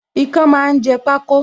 Ikán máa ń jẹ pako